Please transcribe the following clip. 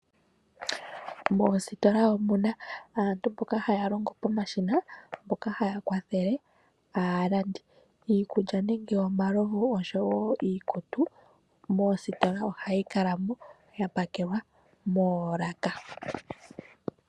Moostola omuna aantu mboka haya longo pomashina mboka haya kwathele aalandi. Iikulya nenge omalovu oshowo iikutu moostola ohayi kalamo ya pakelwa moolaka.